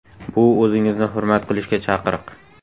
Bu o‘zingizni hurmat qilishga chaqiriq!